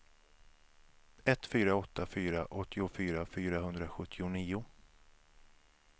ett fyra åtta fyra åttiofyra fyrahundrasjuttionio